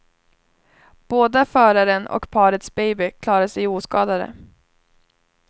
Båda föraren och parets baby klarade sig oskadade.